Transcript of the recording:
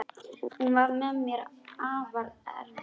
Hún var mér afar erfið.